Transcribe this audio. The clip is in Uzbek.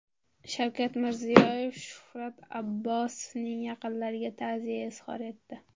Shavkat Mirziyoyev Shuhrat Abbosovning yaqinlariga ta’ziya izhor etdi.